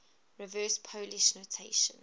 reverse polish notation